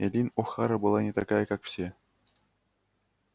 эллин охара была не такая как все